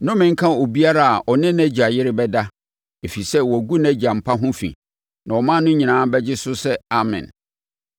“Nnome nka obiara a ɔne nʼagya yere bɛda, ɛfiri sɛ, wagu nʼagya mpa ho fi.” Na ɔman no nyinaa bɛgye so sɛ, “Amen!”